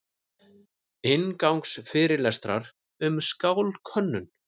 Inngangsfyrirlestrar um sálkönnun.